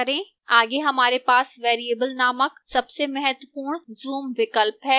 आगे हमारे पास variable नामक सबसे महत्वपूर्ण zoom विकल्प है